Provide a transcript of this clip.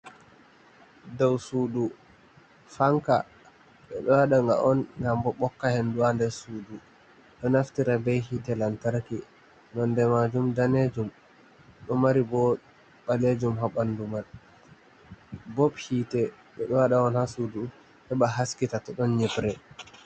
Dow sudu fanka ɓeɗo waɗaga on ngam bo bokka hendu ha nder sudu, ɗo naftira be hite lantarki nonde majum danejum, ɗo mari bo balejum ha bandu man, bob hite ɓe ɗo wada on ha sudu heba haskita to ɗon nyibre.